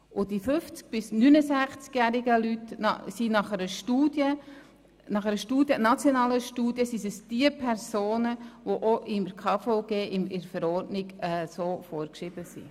Und bei den 50- bis 69-jährigen Menschen handelt es sich laut einer nationalen Studie um diejenigen Personen, die auch in der Verordnung zum KVG vorgeschrieben sind.